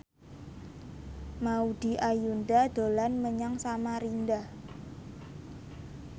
Maudy Ayunda dolan menyang Samarinda